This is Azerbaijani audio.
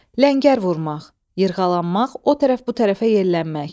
Ləngər vurmaq, yırğalanmaq, o tərəf-bu tərəfə yerlənmək.